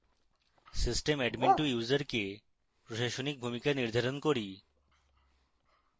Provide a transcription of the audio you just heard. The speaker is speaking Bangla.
system admin2 ইউসারকে প্রশাসনিক ভূমিকা নির্ধারণ করি